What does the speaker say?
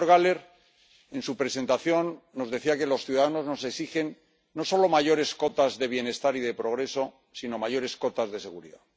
Señor Gahler, en su presentación nos decía que los ciudadanos nos exigen no solo mayores cotas de bienestar y de progreso, sino mayores cotas de seguridad.